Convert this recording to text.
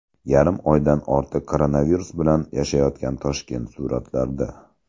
Yarim oydan ortiq koronavirus bilan yashayotgan Toshkent suratlarda.